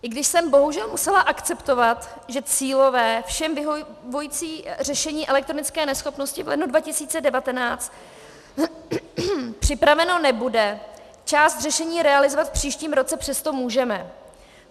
I když jsem bohužel musela akceptovat, že cílové, všem vyhovující řešení elektronické neschopnosti v lednu 2019 připraveno nebude, část řešení realizovat v příštím roce přesto můžeme.